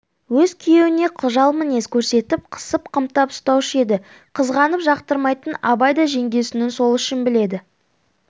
өз күйеуіне қыжал мінез көрсетіп қысып-қымтап ұстаушы еді қызғанып жақтырмайтын абай да жеңгесінің сол ішін біледі